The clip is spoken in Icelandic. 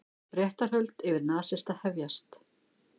Réttarhöld yfir nasista hefjast